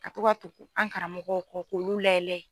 Ka to ka tugu an karamɔw kɔ k'olu layɛ layɛ.